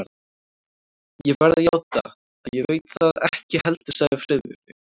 Ég verð að játa, að ég veit það ekki heldur sagði Friðrik.